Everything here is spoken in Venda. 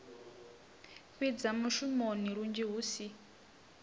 fhidza mushumoni lunzhi hu si